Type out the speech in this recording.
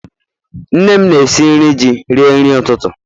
Nne m na-esi nri ji rie nri ụtụtụ